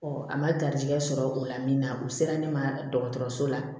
a ma garijɛgɛ sɔrɔ o la min na o sera ne ma dɔgɔtɔrɔso la